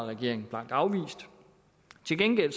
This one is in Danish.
regeringen blankt afvist til gengæld